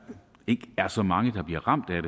ikke er så mange der bliver ramt af